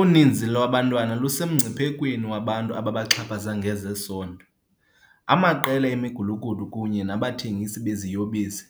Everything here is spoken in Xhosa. Uninzi lwabantwana lusemngciphekweni wabantu ababaxhaphaza ngezesondo, amaqela emigulukudu kunye nabathengisi beziyobisi